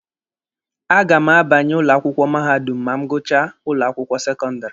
A ga m abanye ụlọ akwụkwọ mahadum ma m gụchaa ụlọ akwụkwọ sekọndịrị.